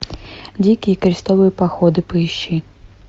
дикие крестовые походы поищи